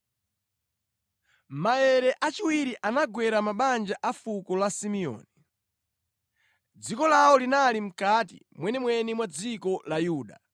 Maere achiwiri anagwera mabanja a fuko la Simeoni. Dziko lawo linali mʼkati mwenimweni mwa dziko la Yuda.